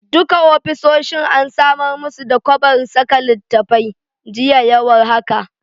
Duka ofisoshin an samar musu da kwabar saka littattafai, jiya ya war haka.